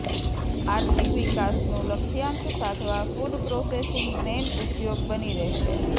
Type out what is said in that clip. આર્થિક વિકાસનું લક્ષ્યાંક સાધવા ફુડ પ્રોસેસીંગ મેઇન ઉઘોગ બની રહેશે